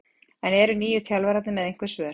En eru nýju þjálfararnir með einhver svör?